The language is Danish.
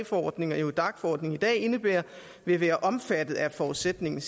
forordningen og eurodac forordningen i dag indebærer vil være omfattet af forudsætningen